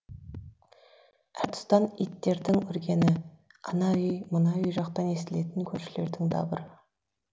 әр тұстан иттердің үргені ана үй мына үй жақтан естілетін көршілердің дабыры